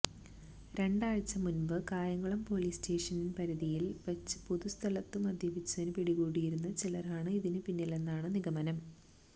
രണ്ടാഴ്ച മുന്പ് Kayamkulam police station പരിധിയില് വച്ച് പൊതു സ്ഥലത്തു മദ്യപിച്ചതിനു പിടികൂടിയിരുന്ന ചിലരാണ് ഇതിന് പിന്നിലെന്നാണ് നിഗമനം